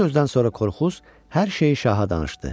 Bu sözdən sonra Korkuz hər şeyi şaha danışdı.